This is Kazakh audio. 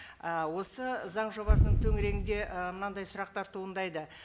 і осы заң жобасының төңірегінде ы мынандай сұрақтар туындайды